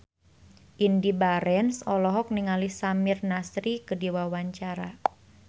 Indy Barens olohok ningali Samir Nasri keur diwawancara